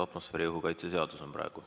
Atmosfääriõhu kaitse seadus on praegu.